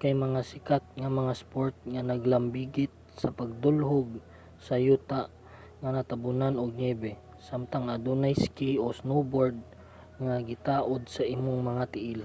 kay mga sikat nga mga sport nga naglambigit sa pagdulhog sa yuta nga natambunan ug niyebe samtang adunay ski o snowboard nga gitaod sa imong mga tiil